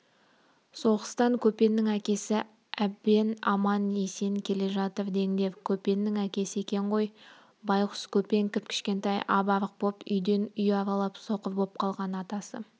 соғыстан көпеннің әкесі әбен аман-есен келе жатыр деңдер көпеннің әкесі екен ғой байғұс көпен кіп-кішкентай ап-арық боп үйден үй аралап соқыр боп қалған атасы